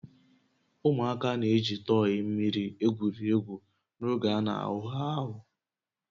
Ụmụaka na-eji tọyị mmiri egwuri egwu n'oge a na-awụ ha ahụ